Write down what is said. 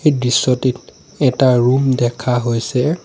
এই দৃশ্যটিত এটা ৰুম দেখা হৈছে।